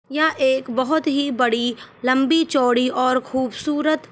यहां एक बहोत ही बड़ी लम्बी चोड़ी और खुबसूरत--